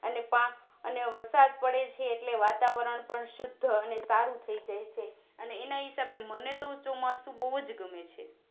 અને પા અને વરસાદ પડે છે એટલે વાતાવરણપણ શુદ્ધઅને સારું થઈ જાય છે અને એના હિસાબે મને તો ચોમાસું બોવ્જ ગમે છે